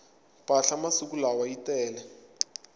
mpahla masiku lawa yi tele